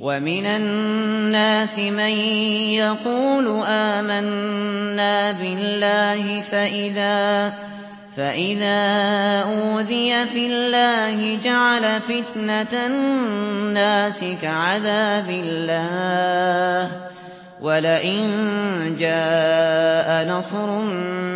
وَمِنَ النَّاسِ مَن يَقُولُ آمَنَّا بِاللَّهِ فَإِذَا أُوذِيَ فِي اللَّهِ جَعَلَ فِتْنَةَ النَّاسِ كَعَذَابِ اللَّهِ وَلَئِن جَاءَ نَصْرٌ